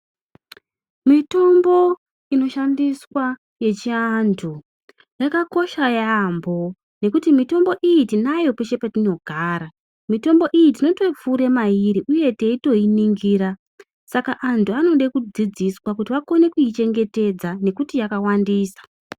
Mitombo inoshandiswa yechiantu yakakosha yaampo ngekuti mutombo ihi tinayo peshe petinogara mutombo iyi tinoto pfuure mairi uye teitoinongira saka antu anode kudzidziswa kuti akone kuichengetedza nekuti yakawandisa.